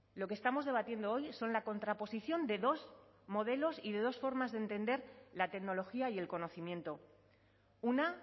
lo que estamos debatiendo hoy son la contraposición de dos modelos y de dos formas de entender la tecnología y el conocimiento una